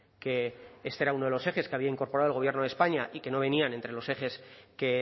que este era uno de los ejes que había incorporado el gobierno de españa y que no venían entre los ejes que